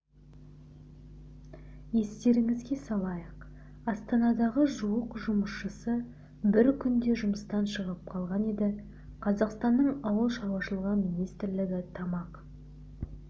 естеріңізге салайық астанадағы жуық жұмысшысы бір күнде жұмыстан шығып қалған еді қазақстанның ауыл шаруашылығы министрлігі тамақ